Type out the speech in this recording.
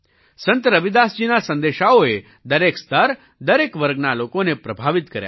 સંત રવિદાસજીના સંદેશાઓએ દરેક સ્તર દરેક વર્ગના લોકોને પ્રભાવિત કર્યા છે